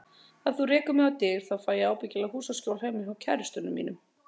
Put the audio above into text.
Ef þú rekur mig á dyr, þá fæ ég ábyggilega húsaskjól heima hjá kærastanum mínum.